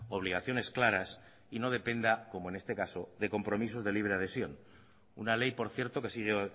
obligaciones claras y no dependa como en este caso de compromisos de libre adhesión una ley por cierto que sigue